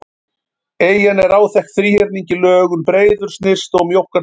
Eyjan er áþekk þríhyrningi í lögun, breiðust nyrst og mjókkar til suðurs.